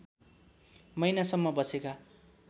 महिनासम्म बसेका